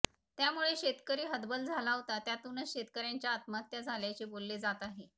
त्यामुळे शेतकरी हतबल झाला होता त्यातूनच शेतकऱ्यांच्या आत्महत्या झाल्याचे बोलले जात आहे